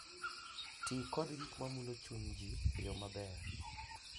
Ti kod gik ma mulo chunygi e yo maber.